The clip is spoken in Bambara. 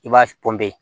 I b'a pɔnpe